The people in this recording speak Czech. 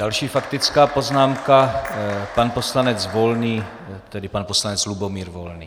Další faktická poznámka, pan poslanec Volný, tedy pan poslanec Lubomír Volný.